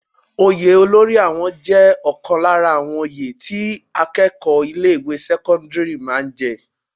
Oyè olórí àwọn jẹ́ ọ̀kan lára àwọn oyè tí àwọn akẹ́kọ̀ọ́ ilé ìwé sẹ́kọ́ńdírì máa ń jẹ.